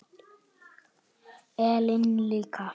Ellen líka.